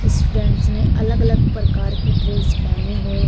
इस बेंच ने अलग अलग परकार की ड्रेस पेहनी हुई है।